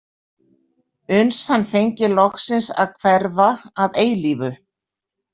Uns hann fengi loksins að hverfa að eilífu.